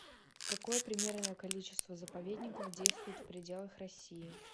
какое примерное количество заповедников действует в пределах россии